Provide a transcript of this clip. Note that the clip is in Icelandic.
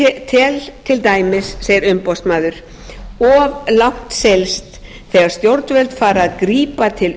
ég tel til dæmis segir umboðsmaður of langt seilst þegar stjórnvöld fara að grípa til